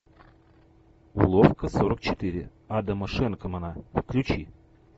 уловка сорок четыре адама шенкмана включи